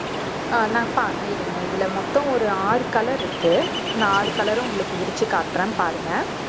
அஹ் நான் ப~ இருங்க இதுல மொத்தம் ஒரு ஆறு color இருக்கு நான் ஆறு color உம் உங்களுக்கு விரிச்சு காட்டுறேன் பாருங்க